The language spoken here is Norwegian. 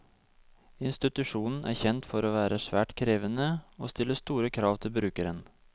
Institusjonen er kjent for å være svært krevende og stille store krav til brukeren.